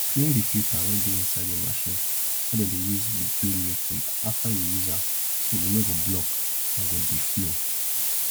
clean di filta wey dey inside di machine wey dey do milking afta yu use am so e nor go block and go dey flow